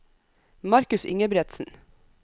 Markus Ingebretsen